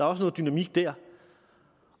også noget dynamik der